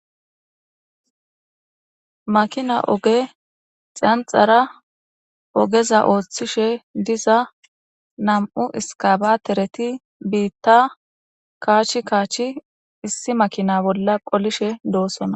makina oge xanxara ogeza ooththishe diza nam7u iskabatereti biitta kaach kaachi issi makina bolla qolishe doossona